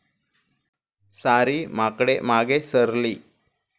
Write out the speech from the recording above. सारी माकडे मागे सरली.